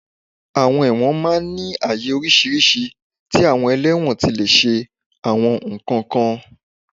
Àwọn ẹ̀wọ̀n máa ń ní àyè oríṣiríṣi tí àwọn ẹlẹ́wọ̀n ti lè ṣe àwọn nǹkan kan